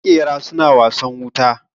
Makera suna wasan wuta